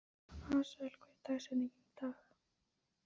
Asael, hver er dagsetningin í dag?